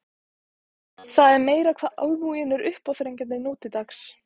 Það er meira hvað almúginn er uppáþrengjandi nú til dags.